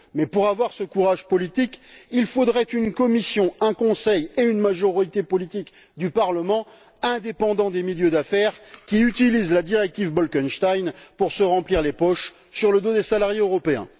Mais pour avoir ce courage politique, il faudrait une Commission, un Conseil et une majorité politique du Parlement indépendants des milieux d'affaires qui utilisent la directive Bolkestein pour se remplir les poches sur le dos des salariés européens.